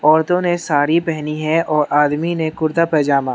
औरतों ने साड़ी पहनी है और आदमी ने कुर्ता पजामा।